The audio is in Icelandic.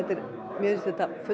mér finnst þetta